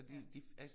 Ja